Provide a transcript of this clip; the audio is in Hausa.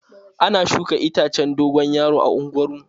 Ana shuka itacen dogon yaro a unguwar mu.